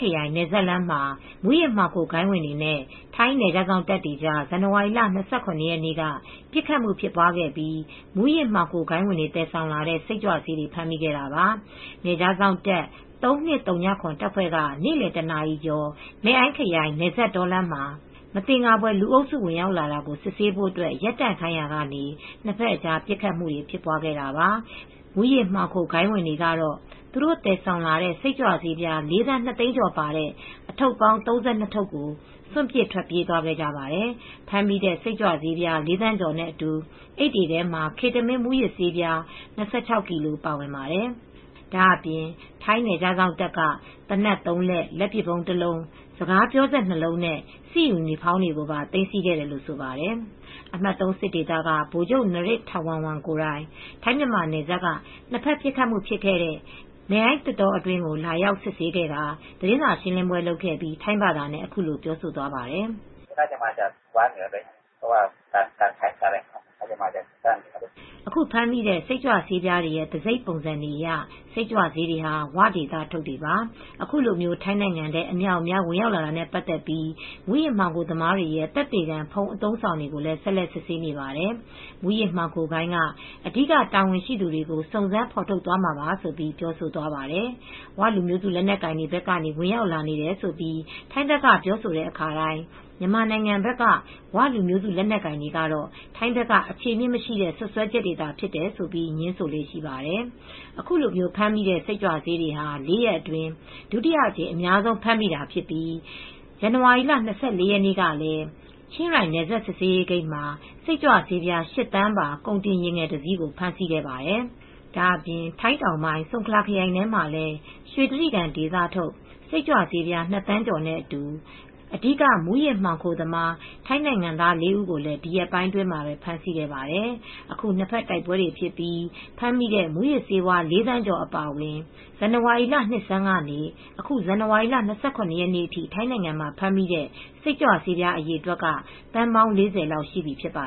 ခရိုင်နယ်စပ်လမ်းမှာ မူးယစ်မှောင်ခိုဂိုဏ်းဝင်တွေနဲ့ ထိုင်းနယ်ခြားစောင့်တပ်ကြား ဇန်နဝါရီလ ၂၇ရက်နေ့ က ပစ်ခတ်မှု ဖြစ်ပွားခဲ့ပြီး မူယစ်မှောင်ခိုဂိုဏ်းဝင်တွေ သယ်ဆောင်လာတဲ့ စိတ်ကြွဆေးတွေ ဖမ်းမိခဲ့တာပါ။ နယ်ခြားစောင့်တပ် ၃၂ဝ၇ တပ်ဖွဲ့က နေ့လည် တနာရီကျော် Mae Ai မယ့်အိုင်းခရိုင် နယ်စပ်တောလမ်းမှာ မသင်္ကာဖွယ် လုအုပ်စုဝင်ရောက်လာတာကို စစ်ဆေးဖို့ ရပ်တန့်ခိုင်းရာကနေ နှစ်ဖက်အကြား ပစ်ခတ်မူတွေဖြစ်ပွားခဲ့တာပါ။ မူးယစ်မှောင်ခိုဂိုဏ်းဝင်တွေကတော့ သူတို့သယ်ဆောင်လာတဲ့ စိတ်ကြွဆေး လေးသန်းနှစ်သိန်းကျော်ပါတဲ့ အထုတ်ပေါင်း ၃၂ထုပ်ကို စွန့်ပစ်ထွက်ပြေးသွားခဲ့ကြပါတယ်။ ဖမ်းမိတဲ့ စိတ်ကြွဆေးလေးသန်းကျော်နဲ့အတူ အိပ်တွေထဲမှာ Ketamine မူးယစ်ဆေး၂၆ကီလိုပါဝင်ပါတယ်။ ဒါအပြင် ထိုင်းနယ်ခြားစောင့်တပ်က သေနတ်သုံးလက်၊ လက်ပစ်ဗုံးတလုံး၊ စကားပြောစက် ၂လုံး၊ စစ်ယူနီဖေါင်းတွေပါ သိမ်းဆည်းခဲ့တယ်လို့ဆိုပါတယ်။ အမှတ်(၃) စစ်ဒေသကဗိုလ်ချုပ် နရစ်ထာဝမ်ဝန် Maj. Gen. Narit Thawornwong,ကိုယ်တိုင် ထိုင်းမြန်မာနယ်စပ်က နှစ်ဖက်ပစ်ခတ်မူ့ဖြစ်ခဲ့တဲ့ Mae Ai သစ်တောအတွင်းကို လာရောက်စစ်ဆေးခဲ့ကာ သတင်းစာရှင်းလင်းပွဲလုပ်ခဲ့ပြီး ထိုင်းဘာသာနဲ့အခုလိုပြောသွားပါတယ်။ "အခုဖမ်းမိတဲ့ စိတ်ကြွဆေးပြားတွေရဲ့ တံဆိပ်ပုံစံတွေအရ စိတ်ကြွဆေးတွေဟာ ဝဒေသထုတ်တွေပါ။ အခုလို ထိုင်းနိုင်ငံထဲ အမြောက်အမြား ဝင်ရောက်လာတာနဲ့ပါတ်သက်ပြီး မူးယစ်မှောင်ခိုသမားတွေရဲ့သက်သေခံဖုန်း အသုံးအဆောင်တွေကို ဆက်လက်စစ်ဆေးနေပါတယ် ။မူးယစ်မှောင်ခိုဂိုဏ်းက အဓိကတာဝန်ရှှိသူတွေကို စုံစမ်းဖေါ်ထုတ်သွားမှာပါ " ဆိုပြီး ပြောဆိုသွားပါတယ် "ဝ" လူမျိုးစုလက်နက်ကိုင်တွေဘက်ကနေ ဝင်ရောက်လာနေတယ်လို့ ထိုင်းဘက်က ပြောဆိုတဲ့အခါတိုင်း မြန်မာနိုင်ငံဘက်က "ဝ" လူမျိုးစုလက်နက်ကိုင်တွေကတော့ ထိုင်းဘက်က အခြေအမြစ်မရှိတဲ့ စွတ်စွဲချက်တွေသာဖြစ်တယ်ဆိုပြီး ငြင်းဆိုလေ့ရှိပါတယ်။ အခုလိုဖမ်းမိတဲ့စိတ်ကြွဆေးတွေဟာ လေးရက်အတွင်းဒုတိယအကြိမ်အများဆုံးဖြစ်ပြီး ပြီးခဲ့တဲ့ ဇန်နဝါရီလ၂၄ရက်နေ့ကလည်း ချင်းရိုင်းနယ်စပ် စစ်ဆေးရေးဂိတ်မှာ စိတ်ကြွဆေး ၈သန်းပါ ကုန်တင်ယာဉ်ငယ်တစီးကို ဖမ်းဆီးခဲ့ပါတယ် ။ ဒါအပြင် ထိုင်းတောင်ပိုင်း ဆုန်ခလာခရိုင်ထဲမှာလည်း ရွှေတြိဂံဒေသထုတ်စိတ်ကြွဆေး ၂သန်းကျော်နဲ့အတူ အဓိက မူးယစ်မှောင်ခိုသမား ထိုင်းနိုင်ငံသားလေးဦးကိုလည်း ဒီရက်ပိုင်းအတွင်း ဖမ်းဆီးခဲ့ပါတယ် ။ အခု နှစ်ဖက်တိုက်ပွဲတွေဖြစ်ပြီး ဖမ်းမိတဲ့မူးယစ်ဆေးဝါး ၄သန်းကျော် အပါအဝင် ဇန်နဝါရီလ နှစ်ဆန်းကနေ အခု ဇန်နဝါရီလ ၂၇ ရက်နေ့အထိထိုင်းနိုင်ငံမှာ ဖမ်းမိတဲ့စိတ်ကြွဆေးပြားအရေအတွက်က သန်းပေါင်း၄ဝလောက်ရှိပြီဖြစ်ပါ